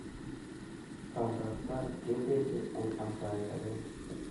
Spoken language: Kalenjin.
Pandaptai ke teche eng amtaet akenge